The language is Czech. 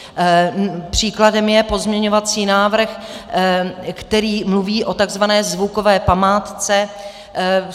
Příkladem je pozměňovací návrh, který mluví o takzvané zvukové památce.